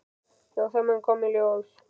Já, það mun koma í ljós.